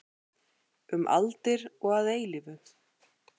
Um aldir og að eilífu.